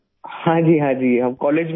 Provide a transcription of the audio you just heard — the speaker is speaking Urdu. ہاں جی! ہاں جی! ہم کالج میں ہی تھے